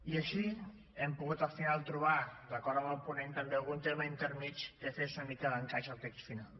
i així hem pogut al final trobar d’acord amb el ponent també algun terme intermedi que fes una mica d’encaix al text final